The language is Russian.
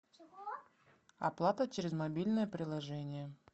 оплата через мобильное приложение